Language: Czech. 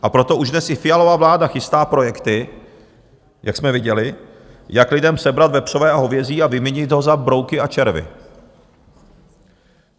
A proto už dnes i Fialova vláda chystá projekty, jak jsme viděli, jak lidem sebrat vepřové a hovězí a vyměnit ho za brouky a červy.